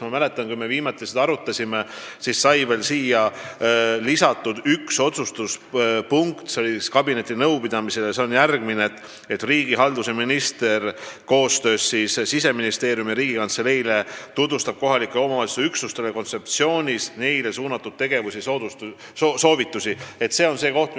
Ma mäletan, et kui me viimati seda kabinetinõupidamisel arutasime, siis sai dokumenti lisatud üks punkt: et riigihalduse minister tutvustab koostöös Siseministeeriumi ja Riigikantseleiga kohalike omavalitsuste üksustele tegevusi, mida nad kontseptsiooni kohaselt tegema peaksid.